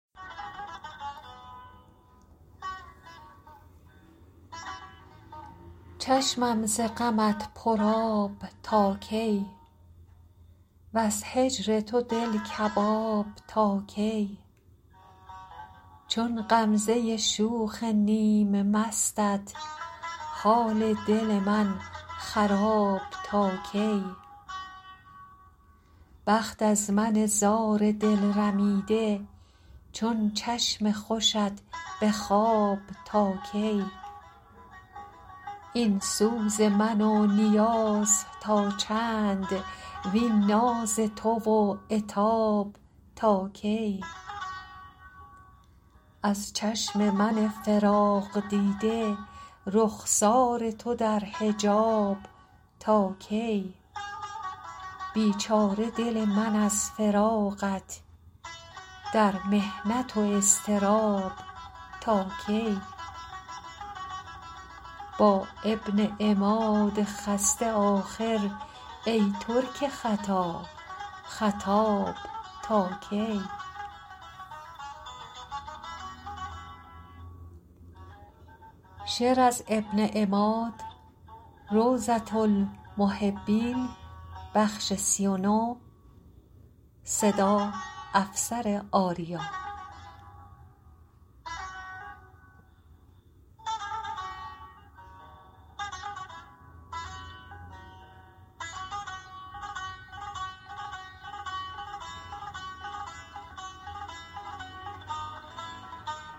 چشمم ز غمت پرآب تا کی وز هجر تو دل کباب تا کی چون غمزه شوخ نیم مستت حال دل من خراب تا کی بخت از من زار دل رمیده چون چشم خوشت به خواب تا کی این سوز من و نیاز تا چند وین ناز تو و عتاب تاکی از چشم من فراق دیده رخسار تو در حجاب تا کی بیچاره دل من از فراقت در محنت و اضطراب تاکی با ابن عماد خسته آخر ای ترک خطا خطاب تا کی